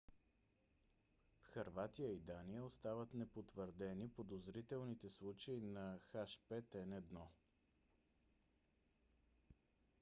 в хърватия и дания остават непотвърдени подозрителните случаи на h5n1